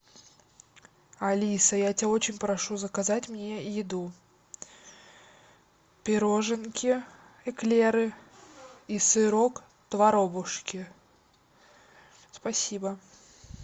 алиса я тебя очень прошу заказать мне еду пироженки эклеры и сырок творобушки спасибо